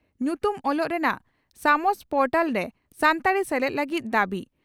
ᱧᱩᱛᱩᱢ ᱚᱞᱚᱜ ᱨᱮᱱᱟᱜ ᱥᱟᱢᱥ ᱯᱚᱨᱴᱟᱞ ᱨᱮ ᱥᱟᱱᱛᱟᱲᱤ ᱥᱮᱞᱮᱫ ᱞᱟᱹᱜᱤᱫ ᱫᱟᱵᱤ